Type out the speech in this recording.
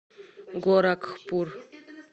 горакхпур